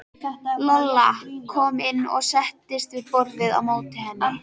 Lolla kom inn og settist við borðið á móti henni.